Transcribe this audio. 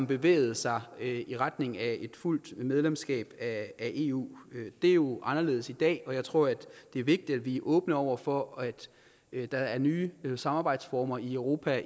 bevægede sig i retning af et fuldt medlemskab af eu det er jo anderledes i dag og jeg tror det er vigtigt at vi er åbne over for at der er nye samarbejdsformer i europa